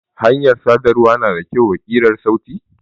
Hanyar sadarwa na da kyau wa kirar sauti?